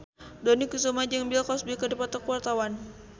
Dony Kesuma jeung Bill Cosby keur dipoto ku wartawan